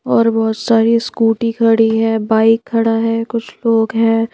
और बोहोत सारी स्कूटी खड़ी है बाइक खड़ा है कुछ लोग हैं।